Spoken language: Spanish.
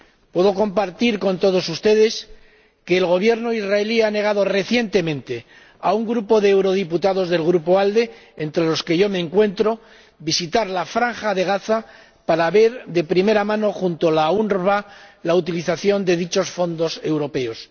Puedo compartir con todos ustedes que el Gobierno israelí ha negado recientemente a un grupo de eurodiputados del Grupo ALDE entre los que yo me encuentro visitar la Franja de Gaza, para ver de primera mano, junto a la UNRWA, la utilización de dichos fondos europeos.